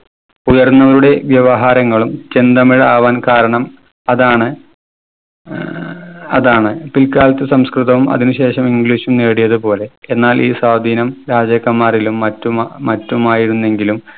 ഉയർന്നവരുടെ വ്യവഹാരങ്ങളും ചെന്തമിഴ് ആവാൻ കാരണം അതാണ്. ഏർ അതാണ്. പിൽക്കാലത്തു സംസ്‌കൃതവും അതിനുശേഷം english ഉം നേടിയത് പോലെ. എന്നാൽ ഈ സ്വാധീനം രാജാക്കന്മാരിലും മറ്റും മ മറ്റുമായിരുന്നെങ്കിലും